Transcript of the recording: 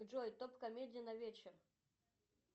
джой топ комедий на вечер